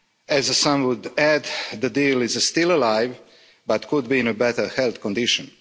As some would add, the deal is still alive but could be in a better health condition.